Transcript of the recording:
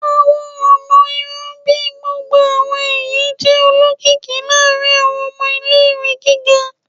Awọn ọna irun bii gbogbo awọn ẹhin jẹ olokiki laarin awọn ọmọ ile-iwe giga